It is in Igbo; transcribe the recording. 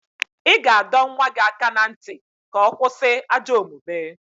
Ị ga-adọ nwa gị aka na ntị ka ọ kwụsị ajọ omume